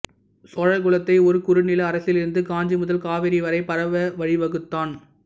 சோழகுலத்தை ஒரு குறுநில அரசிலிருந்து காஞ்சி முதல் காவிரி வரை பரவ வழிவகுத்தான்